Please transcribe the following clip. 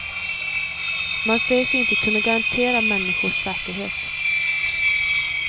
Man säger sig inte kunna garantera människors säkerhet.